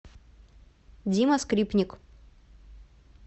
дима скрипник